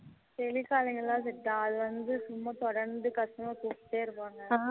tele calling லாம் set ஆகாது அது வந்து சும்மா தொடர்ந்து customer கூப்டே இருப்பாங்க